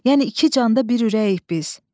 Yəni iki canda bir ürəyik biz.